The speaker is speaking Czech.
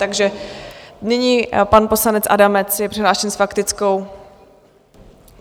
Takže nyní pan poslanec Adamec je přihlášen s faktickou.